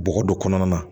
Bɔgɔ don kɔnɔna na